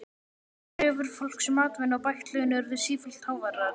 Kröfur fólks um atvinnu og bætt laun urðu sífellt háværari.